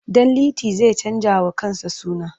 Ɗanliti zai canjawa kansa suna.